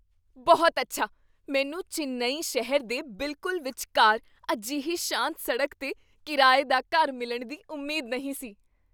ਬਹੁਤ ਅੱਛਾ! ਮੈਨੂੰ ਚੇਨੱਈ ਸ਼ਹਿਰ ਦੇ ਬਿਲਕੁਲ ਵਿਚਕਾਰ ਅਜਿਹੀ ਸ਼ਾਂਤ ਸੜਕ 'ਤੇ ਕਿਰਾਏ ਦਾ ਘਰ ਮਿਲਣ ਦੀ ਉਮੀਦ ਨਹੀਂ ਸੀ।